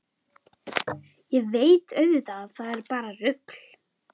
Ég veit auðvitað að það er bara rugl.